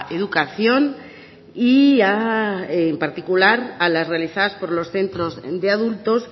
educación y en particular a las realizadas por los centros de adultos